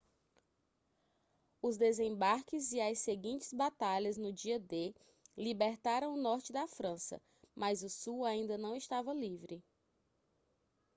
os desembarques e as seguintes batalhas no dia d libertaram o norte da frança mas o sul ainda não estava livre